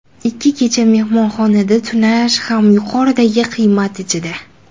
Ikki kecha mehmonxonada tunash ham yuqoridagi qiymat ichida.